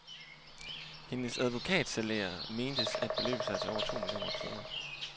Hendes advokatsalærer mentes at beløbe sig til over to millioner kroner.